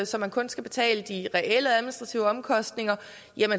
så man kun skal betale de reelle administrative omkostninger